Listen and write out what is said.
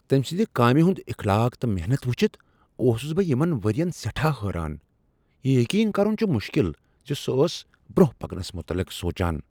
تمۍ سٕند کامہ ہٕنٛد اخلاق تہٕ محنت وٕچھتھ اوسس بہٕ یمن ؤرین سیٹھا حیران۔ یہ یقین کرن چھ مشکل ز سۄ ٲس برٛۄنٛہہ پکنس متعلق سوچان۔